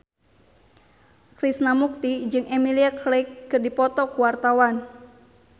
Krishna Mukti jeung Emilia Clarke keur dipoto ku wartawan